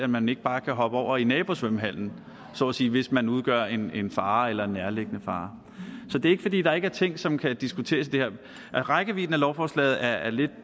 man ikke bare kan hoppe over i nabosvømmehallen så at sige hvis man udgør en en fare eller en nærliggende fare så det er ikke fordi der ikke er ting som kan diskuteres i det her rækkevidden af lovforslaget er lidt